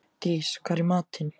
Dís, hvað er í matinn?